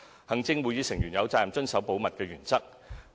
行政會議成員有責任遵守保密原則。